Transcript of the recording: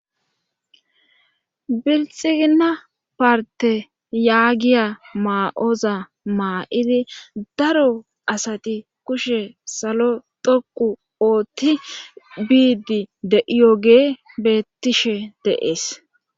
Bilxigina parte yaagiya maa7oza maa7idi daro asati kushe salo dhoqu oothti biidi de7iyogee beettishe deees